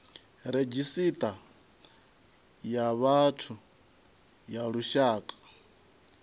redzhisita ya vhathu ya lushaka